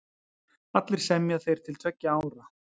Allir semja þeir til tveggja ára.